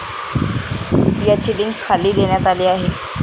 याची लिंक खाली देण्यात आली आहे.